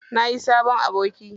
Nayi sabon aboki.